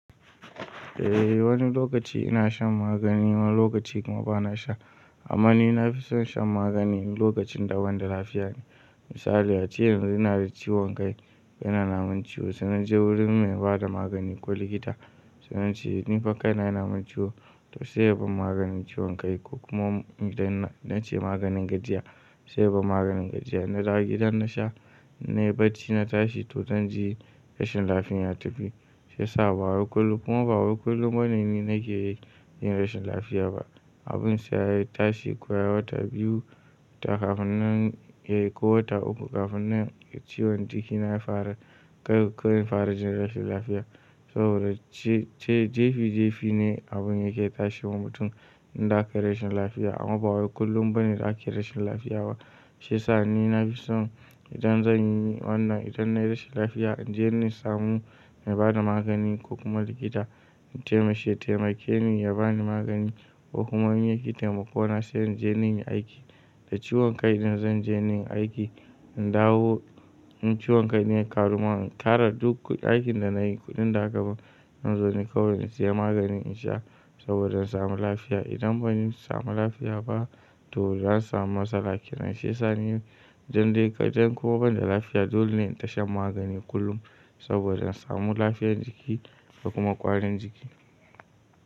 Eh, wani lokaci ina shan magani, wani lokaci kuma ba na sha. Amma ni na fi son shan magani lokacin da banda lafiya ne. Misali, a ce yanzu ina da ciwon kai kaina na min ciwo, sai na je wurin mai bada magani ko likita. Sai na ce ni fa kaina yana min ciwo, to sai ya ban maganin ciwon kai ko kuma idan na ce maganin gajiya, zai ba maganin gajiya. Na dawo gida na sha, na yi barci na tashi to zanji rashin lafiyan ya tafi. Shiyasa ba wai kullum kuma ba wa kullum bane ni nake yin rashin lafiya ba. Abun sai ya tashi ko yayi wata biyu to kafin nan eh ko wata uku kafin nan ciwon ciki na ya fara ko ya fara jin rashin lafiya. Saboda shi, ce jefi-jefi ne abun yake tashi wa mutum in zakai rashin lafiya. Amma ba wai kullum bane zakai rashin lafiya ba. Shiyasa ni na fi son idan zan yi wannan idan na yi rashin lafiya, in je ni samu mai bada magani ko kuma likita in ce mashi ya taimake ni ya ba ni magani ko kuma in yi ki taimako na sai in je ni inyi aiki. Da ciwon kai zan je niyyi aiki, in dawo in ciwon kai ne ya karu kuma in ƙara duk aikin da na yi kuɗin da aka bani in zo ni kawai in saya magani in sha saboda in samu lafiya. Idan ban samu lafiya ba to an samu matsala ke nan. Shiyasa ni idan dai kuman banda lafiya dole ne in tashan magani kullum saboda in samu lafiyar jiki da kuma ƙwarin jiki.